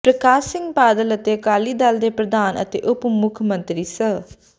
ਪ੍ਰਕਾਸ਼ ਸਿੰਘ ਬਾਦਲ ਅਤੇ ਅਕਾਲੀ ਦਲ ਦੇ ਪ੍ਰਧਾਨ ਅਤੇ ਉਪ ਮੁੱਖ ਮੰਤਰੀ ਸ